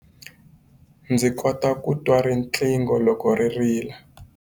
Ndzi kota ku twa riqingho loko ri rila.